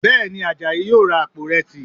Bẹ́ẹ̀ ni, Àjàyí yóò ra àpò ìrẹsì